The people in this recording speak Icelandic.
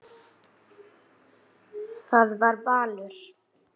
Það var valur.